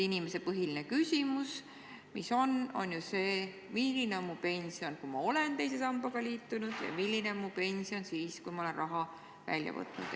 Inimeste põhiline küsimus praegu on ju see, kui suur on mu pension, kui ma olen teise sambaga liitunud, ja kui suur on mu pension siis, kui ma olen raha välja võtnud.